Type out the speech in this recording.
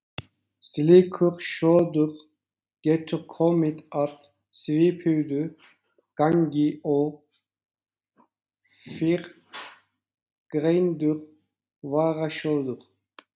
Slíkur sjóður getur komið að svipuðu gagni og fyrrgreindur varasjóður.